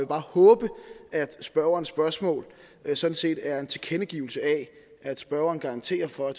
bare håbe at spørgerens spørgsmål sådan set er en tilkendegivelse af at spørgeren garanterer for at